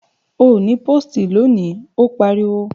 Ò ní pósìtì lónìí, ó pariwo!